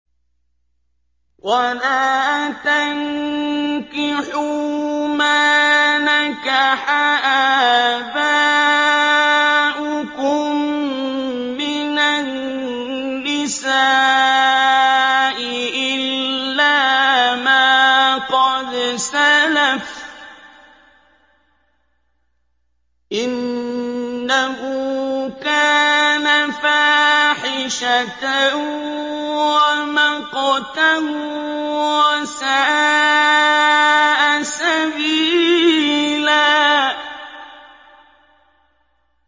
وَلَا تَنكِحُوا مَا نَكَحَ آبَاؤُكُم مِّنَ النِّسَاءِ إِلَّا مَا قَدْ سَلَفَ ۚ إِنَّهُ كَانَ فَاحِشَةً وَمَقْتًا وَسَاءَ سَبِيلًا